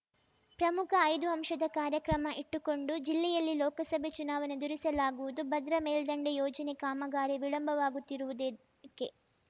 ಪ್ರಮುಖ ಐದು ಅಂಶದ ಕಾರ್ಯಕ್ರಮ ಇಟ್ಟುಕೊಂಡು ಜಿಲ್ಲೆಯಲ್ಲಿ ಲೋಕಸಭೆ ಚುನಾವಣೆ ಎದುರಿಸಲಾಗುವುದು ಭದ್ರಾ ಮೇಲ್ದಂಡೆ ಯೋಜನೆ ಕಾಮಗಾರಿ ವಿಳಂಬವಾಗುತ್ತಿರುವುದೇಕೆ